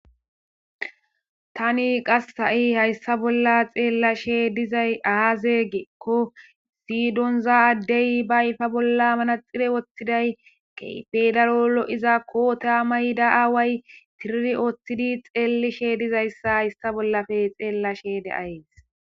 Tani qas ha7i hayssa bolla xeellashe dizay aazeegeekko siidonza addey baayfa bolla manaxire woththiday key pedaro lo7izakkota mayda aaway tiriri wooththidi xeellishe dizayssa hayssa bollafe xeellashe deayes.